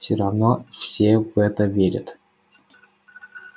всё равно все в это верят